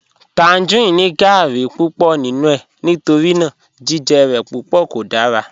Tangerine ni gáarí púpọ̀ nínu è nítorína jìjẹ rẹ̀ púpọ̀ kò dára